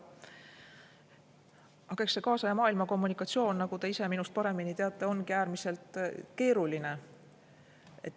Aga eks see kaasaja maailma kommunikatsioon, nagu te ise minust paremini teate, ongi äärmiselt keeruline.